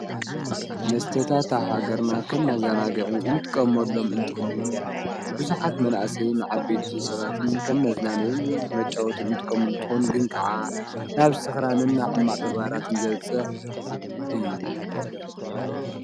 መስተታት ሃገርና ኸም መዛናግዒ እንትጥቀሞሎም እንትኸውን ብዙኃት መናእሰይን ዓቤትዩ ሰባትን ከም መዝናነይን መጫወትን እንትቀምሉ እትንኮን ግን ከዓ ናብ ሥኽራንን ሕማዕ ተግባራትን ዘብጽሕ እዩ።